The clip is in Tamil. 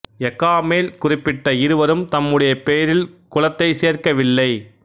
எ கா மேல் குறிப்பிட்ட இருவரும் தம்முடைய பெயரில் குலத்தைச் சேர்க்கவில்லை